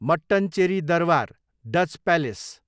मट्टनचेरी दरवार, Dutch palace